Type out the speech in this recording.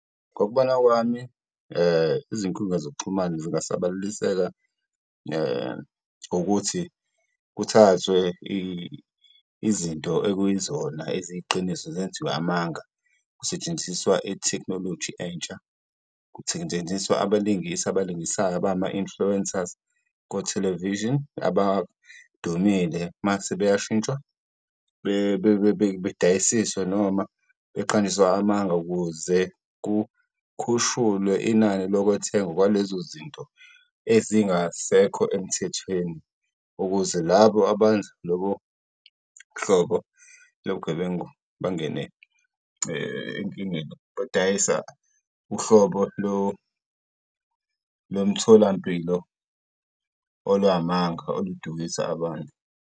Ngokubona kwami, izinkundla zokuxhumana zingasabaleliseka wukuthi kuthathwe izinto ekuyizona eziyiqiniso zenziwe amanga. Kusetshenziswa ithekinoloji entsha, abalingisi abalingisayo abangama-influencers kothelevishini abadumile uma sebeyashintshwa, bedayisiswe noma beqanjiswe amanga ukuze kukhushulwe inani lokwethengwa kwalezo zinto ezingasekho emthethweni. Ukuze labo abenza lolo hlobo lobugebengu bangene enkingeni, badayisa uhlobo lomtholampilo olungamanga oludukisa abantu.